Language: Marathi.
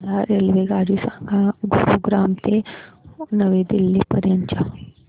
मला रेल्वेगाडी सांगा गुरुग्राम ते नवी दिल्ली पर्यंत च्या